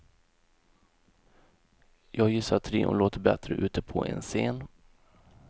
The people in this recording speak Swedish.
Jag gissar att trion låter bättre ute på en scen.